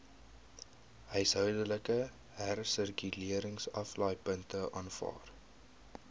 huishoudelike hersirkuleringsaflaaipunte aanvaar